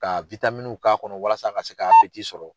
Ka k'a kɔnɔ walasa a ka se ka sɔrɔ.